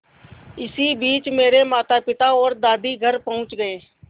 इसी बीच मेरे मातापिता और दादी घर पहुँच गए